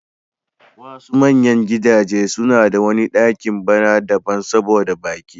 Wasu manyan gidajen suna da wani ɗaki b'na daban saboda baƙi.